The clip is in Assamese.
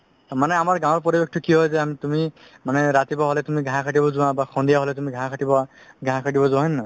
মানে আমাৰ গাওৰ পৰিৱেশটো কি হয় মানে তুমি ৰাতিপুৱা হলে ঘাহ কাতিব যোৱা বা সন্ধিয়া হলে ঘাহ কাতিবা ঘাহ কাতিব যোৱা হয় নে নহয়